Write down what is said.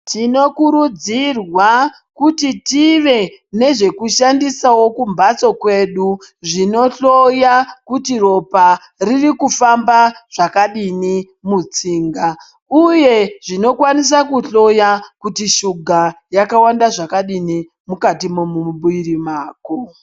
Tinokurudzirwa kuti tive nezvekushandisawo kumhatso kwedu zvinohloya kuti ropa ririkufamba zvakadini mutsinga uye zvinokwanisa kuhloya kuti shuga yakawanda zvakadini mukati momuviri mako.